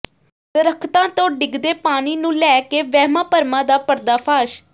ਦਰਖਤਾਂ ਤੋਂ ਡਿੱਗਦੇ ਪਾਣੀ ਨੂੰ ਲੈ ਕੇ ਵਹਿਮਾਂ ਭਰਮਾਂ ਦਾ ਪਰਦਾਫਾਸ਼